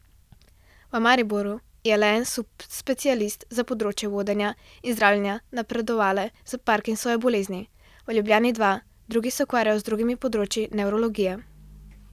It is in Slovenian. V Mariboru je le en subspecialist za področje vodenja in zdravljenja napredovale parkinsonove bolezni, v Ljubljani dva, drugi se ukvarjajo z drugimi področji nevrologije.